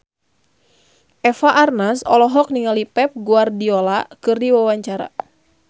Eva Arnaz olohok ningali Pep Guardiola keur diwawancara